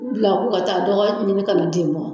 U bila k'u ka taa dɔgɔ ɲini kana di ma.